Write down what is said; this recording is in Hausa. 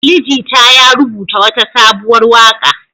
Ali Jita ya rubuta wata sabuwar waƙa.